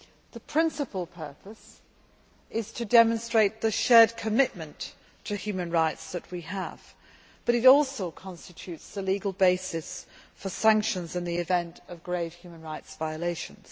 The principal purpose is to demonstrate the shared commitment to human rights which we have, but it also constitutes the legal basis for sanctions in the event of grave human rights violations.